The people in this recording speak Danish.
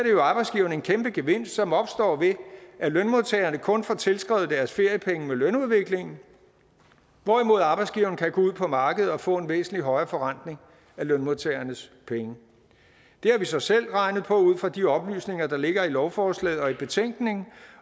jo arbejdsgiveren en kæmpe gevinst som opstår ved at lønmodtagerne kun får tilskrevet deres feriepenge med lønudviklingen hvorimod arbejdsgiverne kan gå ud på markedet og få en væsentlig højere forrentning af lønmodtagernes penge det har vi så selv regnet på ud fra de oplysninger der ligger i lovforslaget og i betænkningen